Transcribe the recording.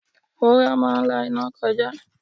Wúrà máa ń la iná kọjá.